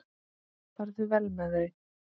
Farðu vel með þau.